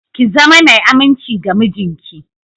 Ki zama mai aminci ga mijinki